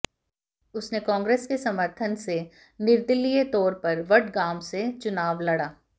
उसने कांगे्रस के समर्थन से निर्दलीय तौर पर वडगाम से चुनाव लड़ा